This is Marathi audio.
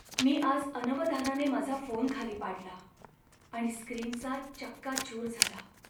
मी आज अनवधानाने माझा फोन खाली पाडला आणि स्क्रीनचा चक्काचूर झाला.